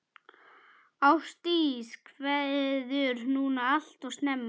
Ástdís kveður núna alltof snemma.